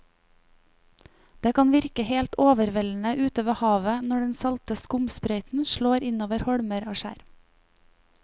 Det kan virke helt overveldende ute ved havet når den salte skumsprøyten slår innover holmer og skjær.